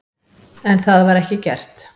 En það var ekki gert.